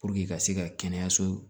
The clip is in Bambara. ka se ka kɛnɛyaso